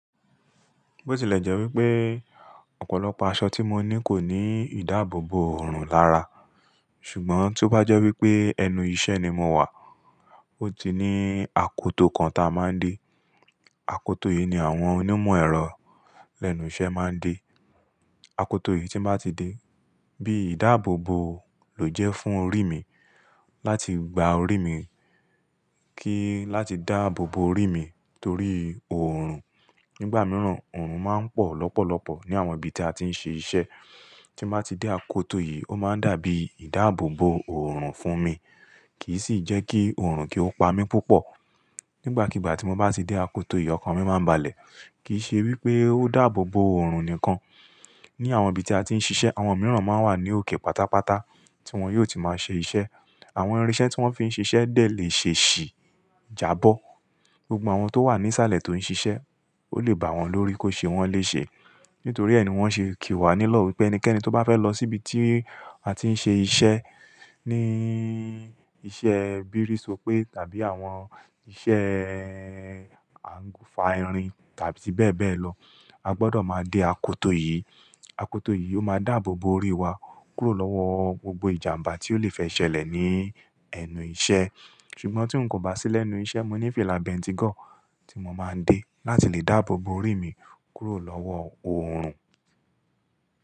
Bó tilẹ̀ jẹ́ wípé ọ̀pọ̀lọpọ̀ aṣọ tí mo ní kò ní ìdáàbòbo òòrùn lára, ṣùgbọ́n tí ó bá jẹ́ wípé ẹnu iṣẹ́ ni mo wà, ó ti ní akoto kan tí a máa ń dè. Akoto yìí ni àwọn onímọ̀ ẹ̀rọ lẹ́nu iṣẹ́ máa ń dè. Akoto yìí tí ń bá ti dè bí ìdáàbòbo lò jẹ́ fún orí mi láti gba orí mi kí i láti dáàbòbo orí mi torí òòrùn. Nígbà mìíràn, òòrùn máa ń pọ̀ lọ́pọ̀lọpọ̀ ní àwọn ibi tí a ti ń ṣe iṣẹ́. Tí mo bá ti dè akoto yìí, ó máa n dàbí ìdáàbòbo òòrùn fún mi kì í sì jẹ́ kí òòrùn kí ó pa mí púpọ̀. Nígbàkígbà tí mo bá ti dè akoto yìí, ọkàn mi máa ń balẹ̀. Kì í ṣe wípé ó dààbòbo òòrùn nìkan. Ni àwọn ibi tí a ti ń ṣiṣẹ́, àwọn mìíràn máa ń wà ní òkè pátápátá tí wọ́n yóò ti máa ṣe iṣẹ́. Àwọn irinṣẹ́ tí wọ́n fi ń ṣe iṣẹ́ dẹ̀ lè ṣeèṣì jà bọ́ gbogbo àwọn tó wà ní sàlẹ̀ tó ń ṣiṣẹ́. Ó lè bà wọ́n lórí kó ṣe wọ́n lè ṣe. Nítorí ẹ́ ni wọ́n ṣe kì wá nílò wípé ẹnikẹ́ni tó bá fẹ́ lọ síbi tí a ti ń ṣe iṣẹ́, ní iṣẹ́ bírìsòpé tàbí àwọn iṣẹ́ à ń gufa irin tàbí bẹ́ẹ̀ bẹ́ẹ̀ lọ. A gbọdọ̀ máa dè akoto yìí. Akoto yìí ó máa dààbòbo orí wa kúrò lọ́wọ́ gbogbo ìjàmbá tí ó lè fẹ́ ṣẹlẹ̀ ní ẹnu iṣẹ́. Ṣùgbọ́n tí n kò bá sí lẹ́nu iṣẹ́, mo ní fìlà bentigọ̀ tí mo máa ń dè láti lè dààbòbo orí mi kúrò lọ́wọ́ òòrùn.